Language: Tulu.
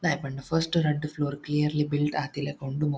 ದಾಯೆ ಪಂಡ ಫಸ್ಟ್ ರಡ್ಡ್ ಫ್ಲೋರ್ ಕ್ಲಿಯರ್ಲಿ ಬಿಲ್ಡ್ ಆತಿಲೆಕ ಉಂಡು.